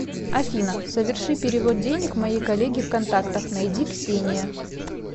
афина соверши перевод денег моей коллеге в контактах найди ксения